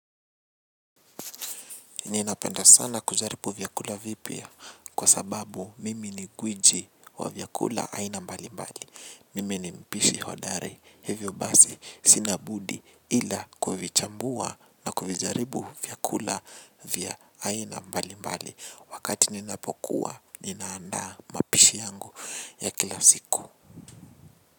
Ninapenda sana kujaribu vyakula vipya kwa sababu mimi ni gwiji wa vyakula aina mbali mbali. Mimi ni mpishi hodari. Hivyo basi sina budi ila kuvichambua na kuvijaribu vyakula vya aina mbali mbali. Wakati ninapokuwa ninaanda mapishi yangu ya kila siku.